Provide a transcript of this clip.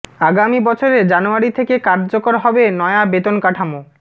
আগামী বছরে জানুয়ারি থেকে কার্যকর হবে নয়া বেতন কাঠামো